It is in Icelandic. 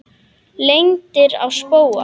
Lendir á spóa.